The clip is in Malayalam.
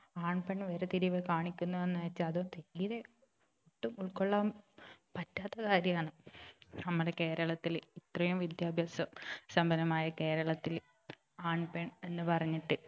ആൺ പെൺ വേർതിരിവ് കാണിക്കുന്നു എന്ന് വെച്ചാൽ തീരെ ഒട്ടും ഉൾകൊള്ളാൻ പറ്റാത്ത കാര്യമാണ് നമ്മുടെ കേരളത്തില് ഇത്രയും വിദ്യാഭ്യാസ സമ്പന്നമായ കേരളത്തില് ആൺ പെൺ എന്ന് പറഞ്ഞിട്ട്